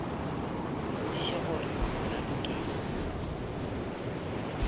mmotšiša gore molato ke eng